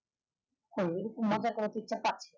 করে দিবে picture টা